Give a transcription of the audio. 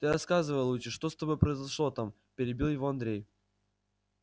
ты рассказывай лучше что с тобой произошло там перебил его андрей